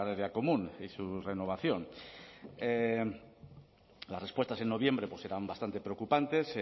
agraria común y su renovación las respuestas en noviembre pues eran bastante preocupantes